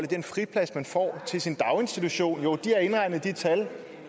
den friplads man får til sin daginstitution i de tal